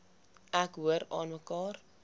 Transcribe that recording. ek hoor aanmekaar